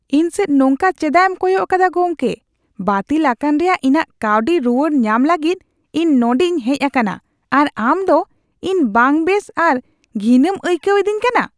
ᱤᱧ ᱥᱮᱫ ᱱᱚᱝᱠᱟ ᱪᱮᱫᱟᱜ ᱮᱢ ᱠᱚᱭᱚᱜ ᱟᱠᱟᱫᱟ ᱜᱚᱢᱠᱮ ? ᱵᱟᱹᱛᱤᱞ ᱟᱠᱟᱱ ᱨᱮᱭᱟᱜ ᱤᱧᱟᱜ ᱠᱟᱹᱣᱰᱤ ᱨᱩᱣᱟᱹᱲ ᱧᱟᱢ ᱞᱟᱹᱜᱤᱫ ᱤᱧ ᱱᱚᱰᱮᱧ ᱦᱮᱡ ᱟᱠᱟᱱᱟ ᱟᱨ ᱟᱢ ᱫᱚ ᱤᱧ ᱵᱟᱝᱵᱮᱥ ᱟᱨ ᱜᱷᱤᱱ ᱮᱢ ᱟᱹᱭᱠᱟᱹᱣ ᱮᱫᱤᱧ ᱠᱟᱱᱟ ᱾